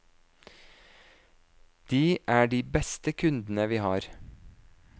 De er de beste kundene vi har.